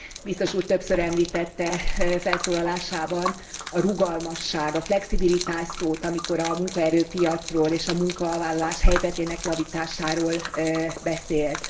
Biztos úr többször említette felszólalásában a rugalmasság, a flexibilitás szót, amikor a munkaerőpiacról és a munkavállalás helyzetének javításáról beszélt.